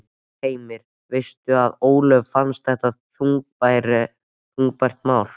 Heimir: Veistu að Ólöfu fannst þetta þungbært mál?